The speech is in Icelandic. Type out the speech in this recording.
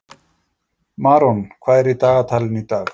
Maron, hvað er í dagatalinu í dag?